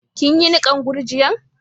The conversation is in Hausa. Kin yi nikan gurjiya'n?